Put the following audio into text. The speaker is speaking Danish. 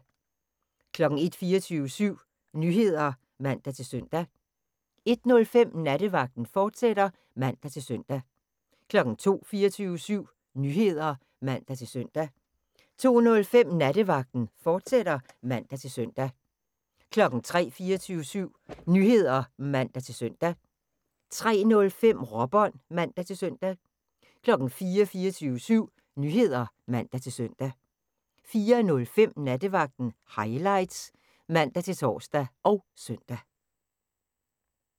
01:00: 24syv Nyheder (man-søn) 01:05: Nattevagten, fortsat (man-søn) 02:00: 24syv Nyheder (man-søn) 02:05: Nattevagten, fortsat (man-søn) 03:00: 24syv Nyheder (man-søn) 03:05: Råbånd (man-søn) 04:00: 24syv Nyheder (man-søn) 04:05: Nattevagten Highlights (man-tor og søn)